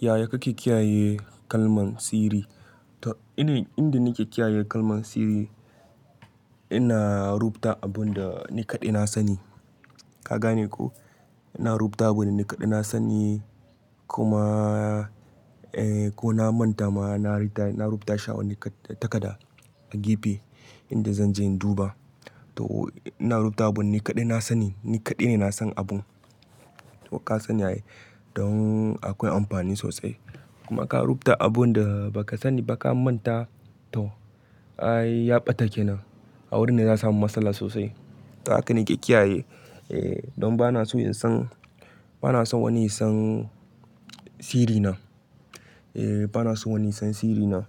Yaya kake kiyaye kalman sirri? To, inda nake kiyaye kalman sirri ina rubuta abun da ni kaɗai na sani. Ka gane ko? Ina rubuta abin da ni kaɗai na sani ko ma, eh ko na manta ma na ritaya, na rubuta shi a wani takada a gefe inda zan je in duba. To ina rubuta abin ni kaɗai na sani, ni kaɗai ne na san abun. To ka sani ai don akwai amfani sosai. Kuma ka rubuta abun da baka saniba ka manta to, ai yaɓa ta ke nan. A wurin za'a samu masala sosai. Haka nake kiyaye, eh don bana so in san, bana so wani ya san sirrina. Eh bana so wani ya san sirrina.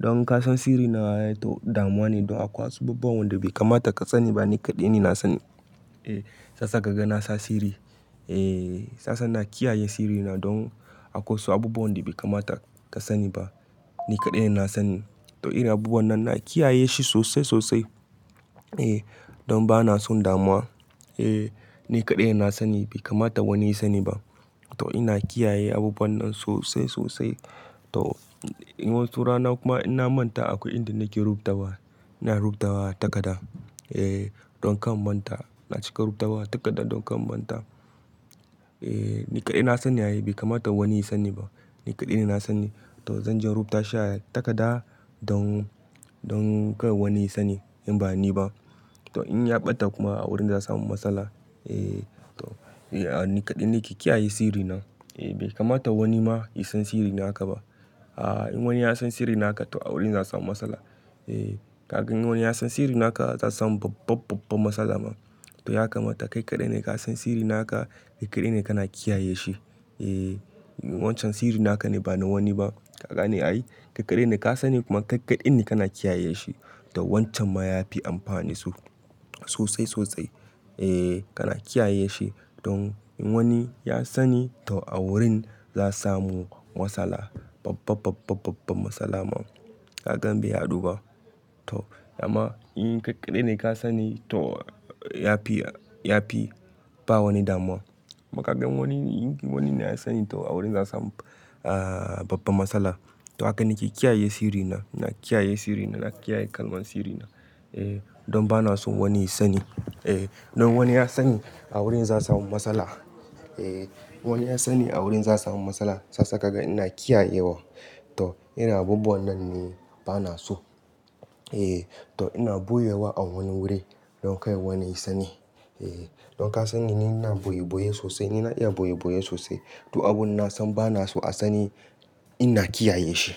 Don ka san sirrina yayi damuwa ne don akwai abubuwan da bai kamata ka sani ba ni kaɗai ne na sani. Eh hiyasa ka ga nasa sirri. Eh hisa ina kiyaye sirrina don akwai wasu abubuwan da bai kamata ka sani ba. Ni kaɗai ne na sani. To irin abubuwan nan na kiyaye shi sosai, sosai. Eh don bana son damuwa. Eh ni kaɗai na sani bai kamata wani ya sani ba. To ina kiyaye abubuwan nan sosai, sosai. To in wasu rana kuma ina manta akwai inda nake rubutawa. Ina rubutawa takada. Eh don kan manta. Na cika rubutawa atakada don kanna manta. Eh ni kaɗai na sani yayi bai kamata wani ya sani ba. Ni kaɗai ne na sani. To zan je in rubuta shi a takada don, don kar wani ya sani in ba ni ba. To in yaɓa ta kuma a wurin za'a samu matsala. Eh to, eh a ni kaɗai na ke kiyaye sirrina. Eh bai kamata wani ma ya san sirrina haka ba. A in wani ya san sirrina haka to a wurin zasu samu matsala. Eh ka gan in wani ya san sirrina haka za'a samu babbabbab matsala ma. To ya kamata kai kaɗai ne ka san sirri naka, kai kaɗai ne kana kiyaye shi. Eh wancan sirri naka ne bana wani ba. Ka gane yayi? Kai kaɗai ne ka sani kuma kai kaɗai ne kana kiyaye shi. Don wancan ma ya fi amfanisu sosai, sosai. Eh kana kiyaye shi don in wani ya sani to a wurin za samu matsala babababbababbab matsala ma. Ka gan bai ya duba. To, dama in kai kaɗai ne ka sani to ya fi, ya fi ba wani damuwa. Kuma kaga in wani, in wani na ya sani to a wurin za'a samu a babbab matsala. To haka nake kiyaye sirrina, ina kiyaye sirrina, ina kiyaye kalman sirrina. Eh don bana so wani ya sani. Eh don wani ya sani a wurin za'a samu matsala. Eh wani ya sani a wurin za'a samu matsala. Shiyasa kaga ina kiyaye wa. To ina abubuwan nan ne bana so. Eh to ina boye wa a wani wuri don kai wani ya sani. Eh don ka sanni ni ina boye boye sosai, ni na iya boye boye sosai. To abun nasan bana so a sani ina kiyaye shi.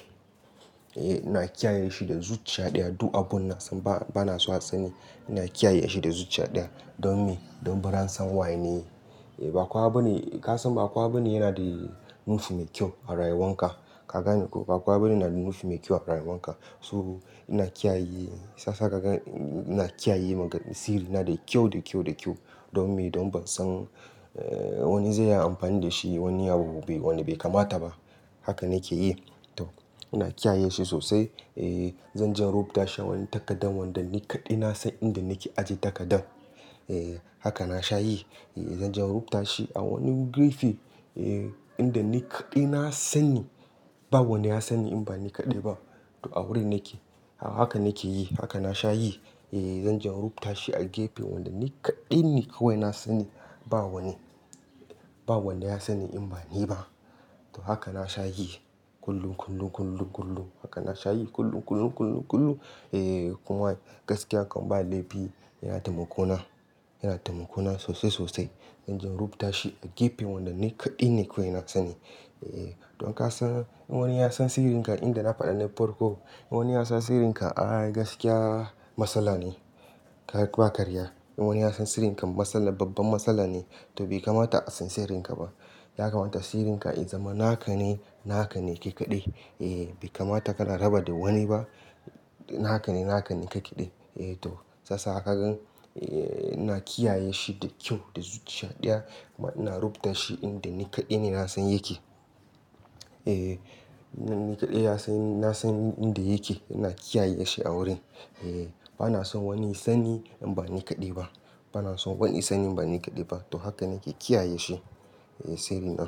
Eh ina kiyaye shi da zuciya ɗaya. Do abun nasan bana so a sani ina kiyaye shi da zuciya ɗaya don me? Don baran san wane ba kowa bane, ka san ba kuwa abune yana da nufi mai kyau a rayuwan ka. Ka gane ko? Ba kuwa abune yana da nufi mai kyau a rayuwan ka. To ina kiyaye, shiyasa ka gan ina kiyaye magan-- sirrina da kyau, da kyau, da kyau. Don me? Don ban san wani zai yi amfani da shi, wani abu wani bai kamata ba. Haka nake yi. To ina kiyaye shi sosai. Eh zan je in rubuta shi a wani takadan wanda ni kaɗai na san inda nake aje takadan. Eh haka na sha yi. Eh zan je in rubuta shi a wani gefe. Eh inda ni kaɗai na sani. Ba wani ya sani in ba ni kaɗai ba. To a wurin nake. Haka nake yi. Haka na sha yi. Eh zan je in rubuta shi a gefe wanda ni kaɗai ne kawai na sani ba wani, ba wanda ya sani in ba ni ba. To haka na sha yi. Kullum, kullum, kullum, kullum. Haka na sha yi kullum, kullum, kullum, kullum. Eh kuma gaskiya kam ba laifi yana taimako na, yana taimako na sosai, sosai. Zan je in rubuta shi a gefe wanda ni kaɗai ne kawai na sani. Eh don ka san in wani ya san sirrinka inda na faɗa na farko. In wani ya san sirrinka, ai gaskiya matsala ne. Kai ba karya. In wani ya san sirrinka matsala, babban matsala ne. To bai kamata a san sirrinka ba. Ya kamata sirrinka in zama naka ne, naka ne kai kaɗai. Eh bai kamata kana raba da wani ba. Naka ne, naka ne kai kaɗai. Eh to shiyasa ka gan, eh ina kiyaye shi da kyau da zuciya ɗaya kuma ina rubuta shi inda ni kaɗai ne na san yake. Eh ni kaɗai ya san, na san inda yake. Ina kiyaye shi a wurin. Eh bana son wani ya sani in ba ni kaɗai ba. Bana son wani ya sani in ba ni kaɗai ba. To haka nake kiyaye shi, eh sirrina.